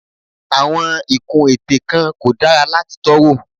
Àwọn ìkun ètè kan kò dára láti tọ́ wò.